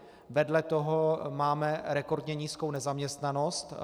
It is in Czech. Vedle toho máme rekordně nízkou nezaměstnanost.